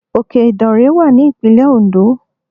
Òke ìdànrè wà ní ìpínlè Òǹdó